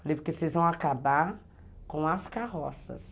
precisam acabar com as carroças.